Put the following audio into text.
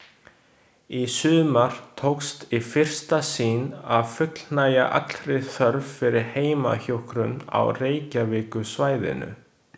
Í sumar tókst í fyrsta sinn að fullnægja allri þörf fyrir heimahjúkrun á Reykjavíkursvæðinu.